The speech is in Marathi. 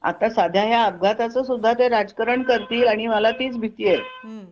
आता सध्या अपघाताचा सुद्धा ते राजकारण करतील आणि मला तीच भीतीचे